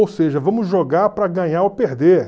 Ou seja, vamos jogar para ganhar ou perder.